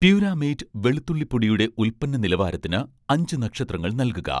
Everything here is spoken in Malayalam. പ്യൂരാമേറ്റ് വെളുത്തുള്ളി പൊടിയുടെ ഉൽപ്പന്ന നിലവാരത്തിന് അഞ്ച് നക്ഷത്രങ്ങൾ നൽകുക